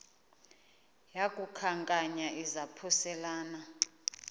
yaku khankanya izaphuselana